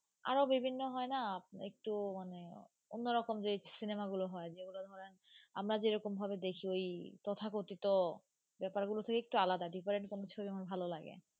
আরো বিভিন্ন হয়না একটু মানে অন্যরকম যে cinema গুলো হয়, যেগুলো ধরেন আমরা যেরকমভাবে দেখি ওই তথাকথিত ব্যাপারগুলো থেকে একটু আলাদা different কোনো ছবি আমার ভালো লাগে।